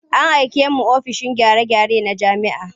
An aike mu ofishin gyare-gyare na jami'a.